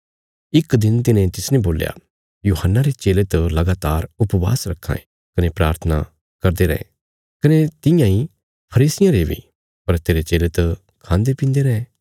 इक दिन तिन्हें तिसने बोल्या यूहन्ना रे चेले त लगातार उपवास रखां ये कने प्राथना करदे रैं कने तियां इ फरीसियां रे बी पर तेरे चेले त खांदे पींदे रैं